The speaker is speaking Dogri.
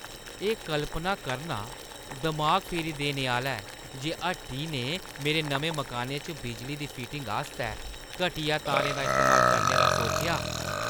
एह् कल्पना करना दमाग फेरी देने आह्‌ला ऐ जे हट्टी ने मेरे नमें मकानै च बिजली दी फिटिंग आस्तै घटिया तारें दा इस्तेमाल करने दा सोचेआ।